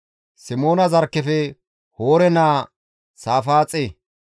Simoona zarkkefe Hoore naa Saafaaxe